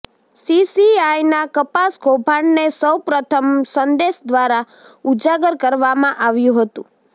સીસીઆઇના કપાસ કૌભાંડને સૌ પ્રથમ સંદેશ દ્વારા ઉજાગર કરવામાં આવ્યુ હતું